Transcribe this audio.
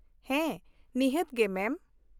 ᱦᱮᱸ, ᱱᱤᱦᱟᱹᱛ ᱜᱮ ᱢᱮᱢ ᱾